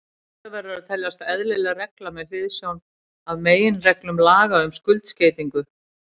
Þetta verður að teljast eðlileg regla með hliðsjón af meginreglum laga um skuldskeytingu.